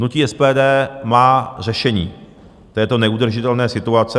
Hnutí SPD má řešení této neudržitelné situace.